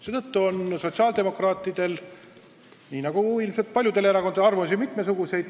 Seetõttu on sotsiaaldemokraatidel nii nagu ilmselt paljudel erakondadel mitmesuguseid arvamusi.